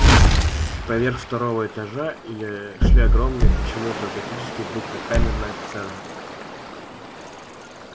поверх второго этажа или шли огромные почему-то готические буквы камерная сцена